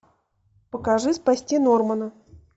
покажи спасти нормана